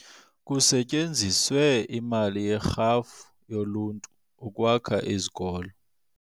Kusetyenziswe imali yerhafu yoluntu ukwakha izikolo.